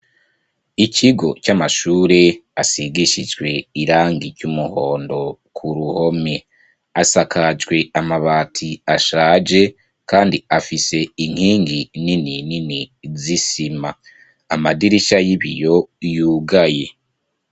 Ikigo c'amashure asigishijwe irangi ry'umuhondo ku ruhome. Asakajwe amabati ashaje kandi afise inkingi nini nini z'isima amadirisha y'ibiyo yugaye.